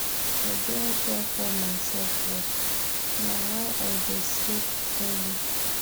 I dey care for mysef o, na why I dey sleep early.